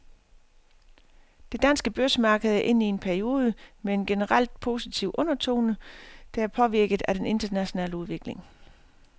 Det danske børsmarked er inde i en periode med en generelt positiv undertone, der er påvirket af den internationale udvikling.